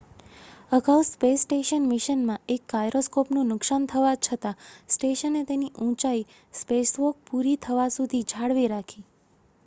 અગાઉ space station મિશનમાં એક ગાયરોસ્કોપનું નુકસાન થવા છતાં સ્ટેશને તેની ઊંચાઈ સ્પેસવોક પૂરી થવા સુધી જાળવી રાખી